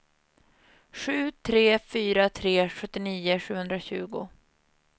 sju tre fyra tre sjuttionio sjuhundratjugo